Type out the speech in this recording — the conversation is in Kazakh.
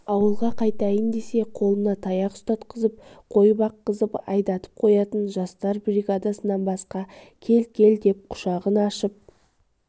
ауылға қайтайын десе қолына таяқ ұстатқызып қой баққызып айдатып қоятын жастар бригадасынан басқа кел-кел деп құшағын ашып